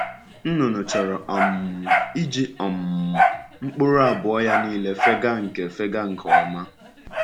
Nnụnụ chọrọ um iji um mkpụrụ abụọ ya niile fega nke fega nke ọma.